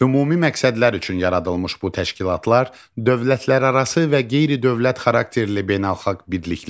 Ümumi məqsədlər üçün yaradılmış bu təşkilatlar dövlətlərarası və qeyri-dövlət xarakterli beynəlxalq birliklərdir.